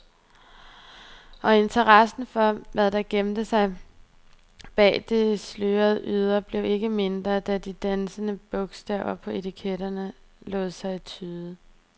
Og interessen for, hvad der gemte sig bag det slørede ydre, blev ikke mindre, da de dansende bogstaver på etiketten lod sig tyde.